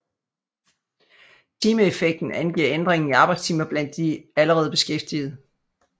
Timeeffekten angiver ændringen i arbejdstimer blandt de allerede beskæftigede